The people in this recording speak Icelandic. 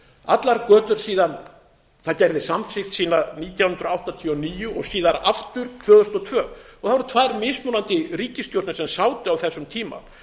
allar götur síðan það gerði samþykkt sína nítján hundruð áttatíu og níu og síðan aftur tvö þúsund og tvö og það voru tvær mismunandi ríkisstjórnir sem sátu á þessum tíma